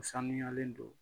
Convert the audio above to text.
O sanuyalen don